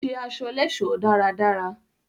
Ó ṣe aṣọ lẹ́ẹ̀sọ́ dáradára